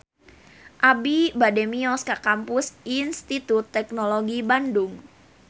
Abi bade mios ka Kampus Institut Teknologi Bandung